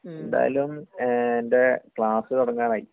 എന്തായാലും....എന്റെ class തുടങ്ങാറായി